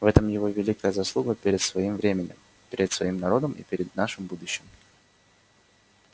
в этом его великая заслуга перед своим временем перед своим народом и перед нашим будущим